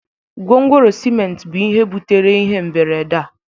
gwongworo ciment bu ihe butere ihe mberede a